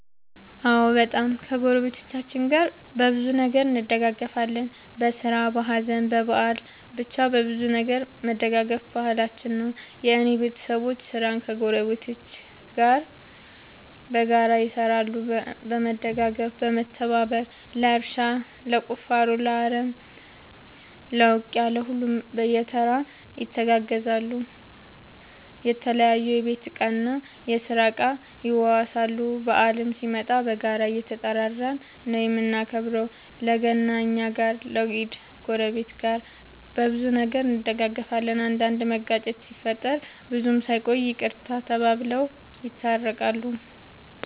አዎ በጣም ከ ጎረቤቶቻችን ጋር በብዙ ነገር እንደጋገፋለን በስራ በሀዘን በበአል በቻ በሁሉም ነገር መደጋገፍ ባህላችን ነው። የእኔ ቤተሰቦቼ ስራን ከ ጎረቤት ጋር በጋራ ይሰራሉ በመደጋገፍ በመተባበር ለእርሻ ለቁፋሮ ለአረም ለ ውቂያ ለሁሉም በየተራ ይተጋገዛሉ የተለያዩ የቤት እና የስራ እቃ ይዋዋሳሉ። በአልም ሲመጣ በጋራ እየተጠራራን ነው የምናከብረው ለ ገና እኛ ጋ ለ ኢድ ጎረቤት። በብዙ ነገር እንደጋገፋለን። አንዳንድ መጋጨት ሲፈጠር ብዙም ሳይቆዩ ይቅርታ ተባብለው የታረቃሉ።